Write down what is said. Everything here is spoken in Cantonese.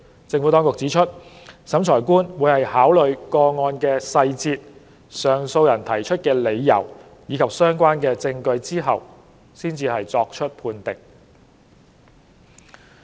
政府當局指出，審裁官會在考慮個案的細節、上訴人提出的理由和相關證據後作出判定。